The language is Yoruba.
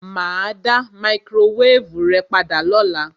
Mà á dá máíkrówévù rẹ padà lọ́la.